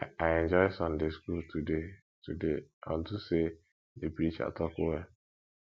i enjoy sunday school today today unto say the preacher talk well